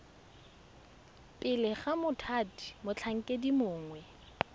pele ga mothati motlhankedi mongwe